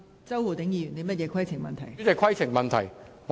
周浩鼎議員，你有甚麼規程問題？